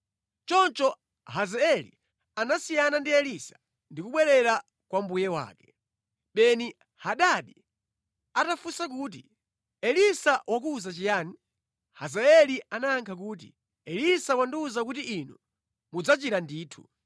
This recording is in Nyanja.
Choncho Hazaeli anasiyana ndi Elisa ndi kubwerera kwa mbuye wake. Beni-Hadadi atafunsa kuti, “Elisa wakuwuza chiyani?” Hazaeli anayankha kuti, “Elisa wandiwuza kuti inu mudzachira ndithu.”